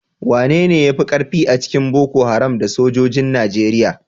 Wanene ya fi karfi a cikin Boko Haram da sojojin Najeriya?